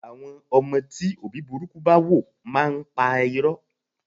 Àwọn ọmọ tí òbí burúkú bá wò máa ń pa'rọ́.